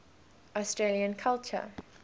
australian culture